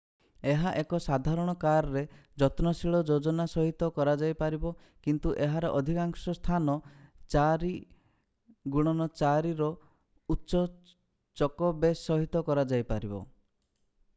ଏହା ଏକ ସାଧାରଣ କାର୍‌ରେ ଯତ୍ନଶୀଳ ଯୋଜନା ସହିତ କରାଯାଇପାରିବ କିନ୍ତୁ ଏହାର ଏଥିକାଂଶ ସ୍ଥାନ 4x4 ର ଉଚ୍ଚ ଚକ ବେସ୍ ସହିତ କରାଯାଇପାରିବ।